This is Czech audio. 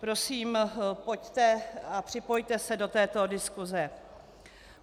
Prosím, pojďte a připojte se do této diskuse.